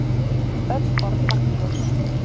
Öll orð magnlaus.